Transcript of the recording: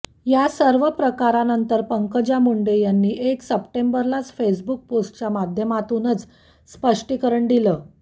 या सर्व प्रकारानंतर पंकजा मुंडे यांनी एक सप्टेंबरलाच फेसबुक पोस्टच्या माध्यमातूनच स्पष्टीकरण दिलं